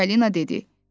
Çipalina dedi.